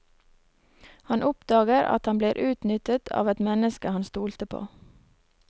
Han oppdager at han blir utnyttet av et menneske han stolte på.